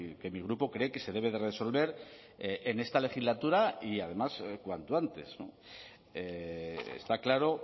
que mi grupo cree que se debe de resolver en esta legislatura y además cuanto antes está claro